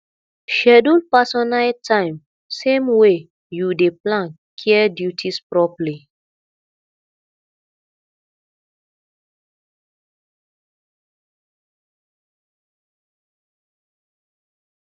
schedule personal time same way you dey plan care duties properly